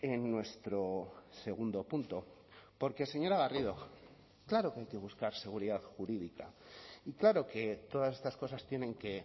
en nuestro segundo punto porque señora garrido claro que hay que buscar seguridad jurídica y claro que todas estas cosas tienen que